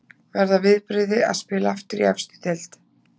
Verða viðbrigði að spila aftur í efstu deild.